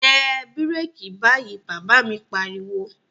Tẹ bíràkì báyìí, Bàbá mi pariwo